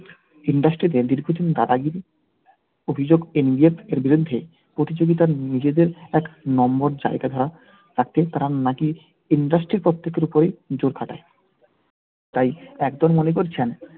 industry তে দীর্ঘদিন দাদাগিরির অভিযোগ এর বিরুদ্ধে প্রতিযোগিতার নিজেদের এক নম্বর জায়গাটা রাখবে তারা নাকি industry র প্রত্যেকের উপর জোর খাটাই। তাই একদল মনে করছেন